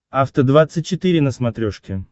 афта двадцать четыре на смотрешке